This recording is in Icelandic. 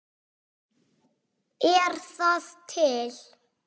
Er það til?